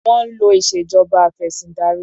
Wọ́n ń lò ìṣèjọba afẹ̀sìndarí.